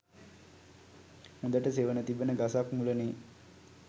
හොඳට සෙවණ තිබෙන ගසක් මුල නේ?